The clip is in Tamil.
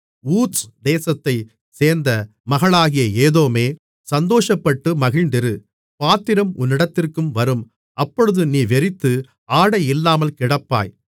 ஊத்ஸ் தேசத்தைச் சேர்ந்த மகளாகிய ஏதோமே சந்தோஷப்பட்டு மகிழ்ந்திரு பாத்திரம் உன்னிடத்திற்கும் வரும் அப்பொழுது நீ வெறித்து ஆடையில்லாமல் கிடப்பாய்